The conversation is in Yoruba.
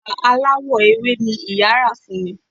Bàtà aláwọ̀ ewé ni ìyá rà fún mi